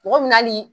Mɔgɔ mina hali